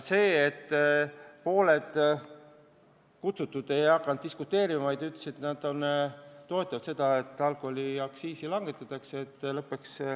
Pooled kohalekutsutud ei hakanud diskuteerima, vaid ütlesid, et nad toetavad alkoholiaktsiisi langetamist.